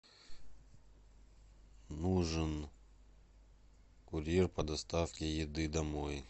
нужен курьер по доставке еды домой